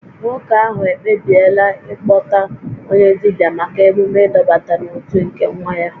Nwoke ahụ ekpebiela ịkpọta onye dibia maka emume ịdọbata n'otu nke nwa ya